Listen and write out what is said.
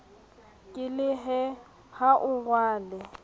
ke lehe ha o rwale